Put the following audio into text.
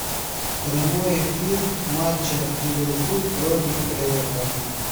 прямой эфир матча ливерпуль против эвертона